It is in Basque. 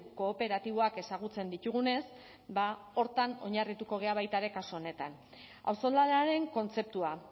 kooperatiboak ezagutzen ditugunez ba horretan oinarrituko gara baita ere kasu honetan auzolanaren kontzeptua